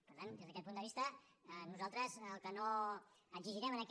per tant des d’aquest punt de vista nosaltres el que no exigirem en aquest